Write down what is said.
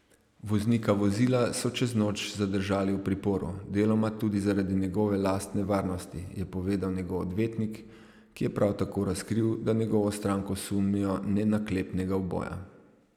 Voznika vozila so čez noč zadržali v priporu, deloma tudi zaradi njegove lastne varnosti, je povedal njegov odvetnik, ki je prav tako razkril, da njegovo stranko sumijo nenaklepnega uboja.